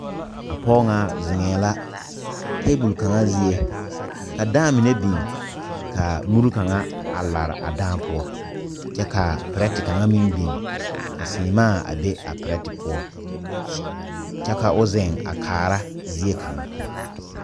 A pɔge ŋa zeŋɛɛ la tabol kaŋa zie ka daa mine biŋ ka muri kaŋa a pare a daa poɔ kyɛ ka perɛte kaŋa meŋ biŋ ka seemaa a be a perɛte poɔ kyɛ ka o zeŋ a kaara zie kaŋa.